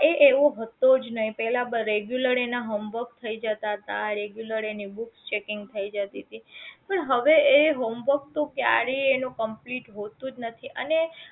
એ એવો હતો જ નહીં પહેલા regular એના homework થઇ જતા હતા regular એની book checking થઇ જતી હતી પણ હવે એ homework તો ક્યારેય એનું complete હોતું જ નથી અને